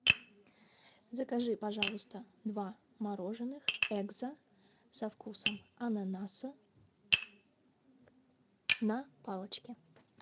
закажи пожалуйста два мороженных экзо со вкусом ананаса на палочке